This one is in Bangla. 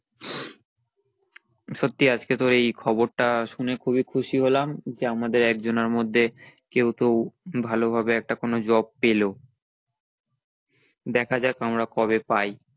সত্যি আজকে তোর এই খবরটা শুনে খুবই খুশি হলাম যে আমাদের একজনের মধ্যে কেও তো ভালো ভাবে একটা কোনো job পেলো দেখা যাক আমরা কবে পাই।